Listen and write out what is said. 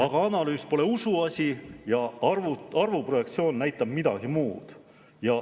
Aga analüüs pole usuasi ja arvuprojektsioon näitab midagi muud.